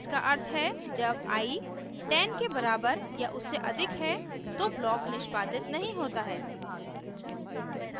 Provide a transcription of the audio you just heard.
इसका अर्थ है जब i 10 के बराबर या उससे अधिक है तो block निष्पादित नहीं होता है